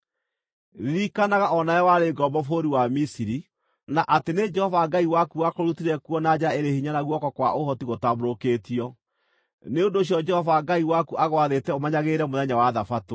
Ririkanaga o nawe warĩ ngombo bũrũri wa Misiri, na atĩ nĩ Jehova Ngai waku wakũrutire kuo na njara ĩrĩ hinya na guoko kwa ũhoti gũtambũrũkĩtio. Nĩ ũndũ ũcio Jehova Ngai waku agwathĩte ũmenyagĩrĩre mũthenya wa Thabatũ.